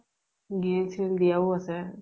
grill চ্ৰিল দিয়াও আছে।